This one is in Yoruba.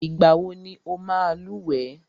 Ìgbà wọ ní ọ máa lúwẹ̀ẹ́?